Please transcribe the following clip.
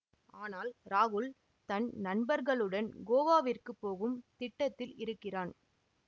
ஆனால் ராகுல் தன் நண்பர்களுடன் கோவாவிற்கு போகும் திட்டத்தில் இருக்கிறான்